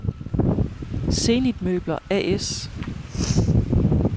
Zenith Møbler A/S